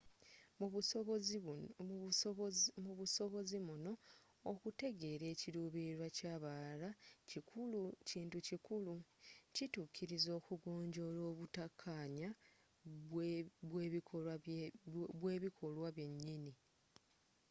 mu busobozi muno okutegeera ekiruubilirwa kyabalala kintu kikulu kitukkiriza okugonjola obuttakkanya bwebikolwa byennyini